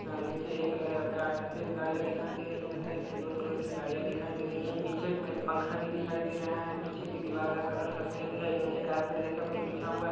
निचे एक गा सफ़ेद गाडिया दिखाय दे रही हैजो सिल्वर कलर की गाडिया दिखाय दे रही हैपीछे एक पंखा भी दिखाय दे रहा हैपीछे की इवल का कलर सफ़ेद हैनिचे कारपेट जैसा कुछ बिछा हुआ--